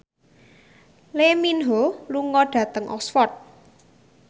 Lee Min Ho lunga dhateng Oxford